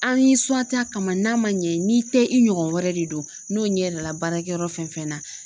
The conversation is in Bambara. An y'i suwanti a kama n'a ma ɲɛ n'i tɛ i ɲɔgɔn wɛrɛ de don n'o ɲɛ yira la baarakɛyɔrɔ fɛn fɛn na